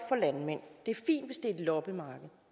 et loppemarked